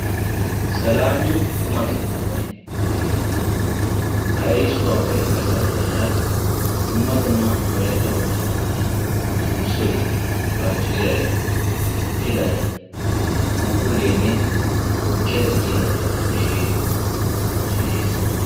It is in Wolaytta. selami quma keettaanne tukke keettaa. ha erissuwappe garssa baggaara dumma dumma wolayitta wogaa qumati sulssoy, baacciray, pilay, phuuphulleenne tukkiya tigiya mishire pootoy de'es.